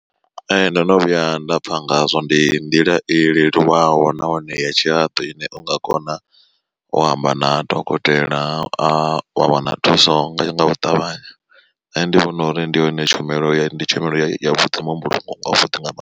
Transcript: Ee ndono vhuya nda pfa ngazwo ndi nḓila i leluwaho nahone ya tshihaḓu ine u nga kona u amba na dokotela wa wana thuso nga ngau ṱavhanya. Nṋe ndi vhona uri ndi yone tshumelo ya ndi tshumelo ya vhuḓi muhumbulo wa vhuḓi nga mannḓa.